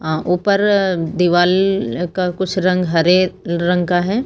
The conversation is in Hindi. अह ऊपर दीवाल अह का कुछ रंग हरे रंग का है।